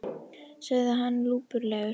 sagði hann lúpulegur.